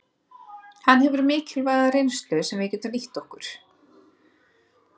Hann hefur mikilvæga reynslu sem við getum nýtt okkur.